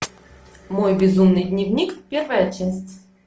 мой безумный дневник первая часть